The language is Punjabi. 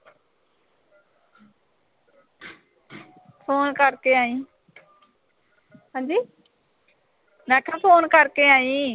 phone ਕਰਕੇ ਆਈਂ। ਮੈਂ ਕਿਆ phone ਕਰਕੇ ਆਈਂ